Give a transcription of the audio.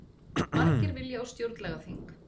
Margir vilja á stjórnlagaþing